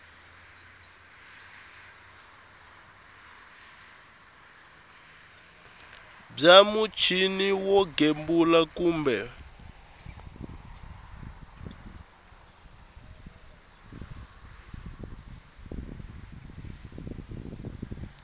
bya muchini wo gembula kumbe